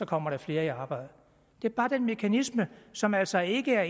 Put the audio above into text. kommer der flere i arbejde det er bare den mekanisme som altså ikke er